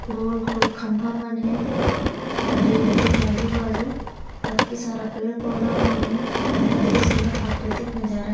गोल-गोल खंभा मन हे डैम के आजु-बाजू कतका सारा पेड़-पौधा मन हे कत के सुन्दर प्राकृतिक नज़ारा